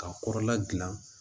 K'a kɔrɔla gilan